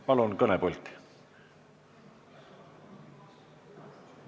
Palun kõnepulti!